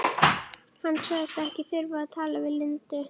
Hann sagðist ekki þurfa að tala við Lindu.